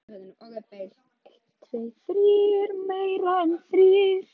Kenn þú nú ráðin, sagði göngukonan mæðulega og renndi augum til húsmóðurinnar.